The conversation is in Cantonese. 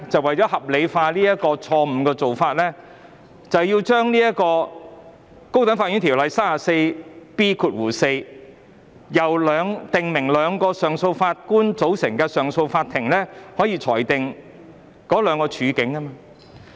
為合理化有關的錯誤做法，政府便提出修訂《條例》第 34B4 條，訂明由兩名上訴法官組成的上訴法庭亦可以裁定兩種案件。